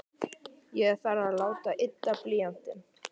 Ég þarf að láta ydda blýantinn.